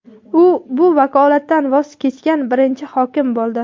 U bu vakolatdan voz kechgan birinchi hokim bo‘ldi.